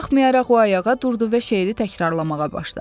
Buna baxmayaraq o ayağa durdu və şeiri təkrarlamağa başladı.